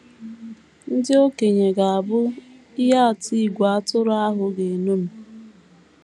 Ndị okenye ga - abụ “ ihe atụ ìgwè atụrụ ahụ ga - eṅomi ”